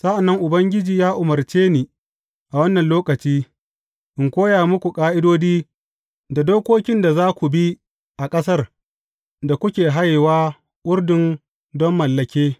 Sa’an nan Ubangiji ya umarce ni a wannan lokaci, in koya muku ƙa’idodi da dokokin da za ku bi a ƙasar da kuke hayewa Urdun don mallake.